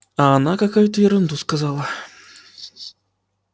а она какую-то ерунду сказала